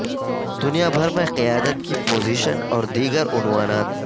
دنیا بھر میں قیادت کی پوزیشن اور دیگر عنوانات